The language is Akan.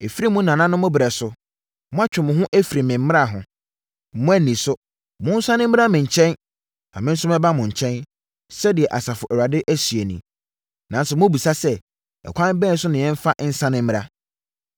Ɛfiri mo nananom ɛberɛ so, moatwe mo ho afiri me mmara ho. Moanni so. Monsane mmra me nkyɛn, na me nso mɛba mo nkyɛn,” sɛdeɛ Asafo Awurade seɛ nie. “Nanso mobisa sɛ, ‘Ɛkwan bɛn so na yɛmfa nsane mmra?’